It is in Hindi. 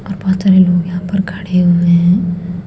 और बहोत सारे लोग यहां पर खड़े हुए है।